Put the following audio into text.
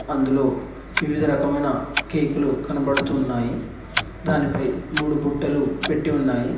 అందులో వివిధ రకమైన కేక్ లు కనబడుతున్నాయి దానిపై మూడు బుట్టలు పెట్టి ఉన్నాయి.